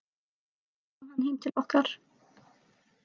Þá kom hann heim til okkar.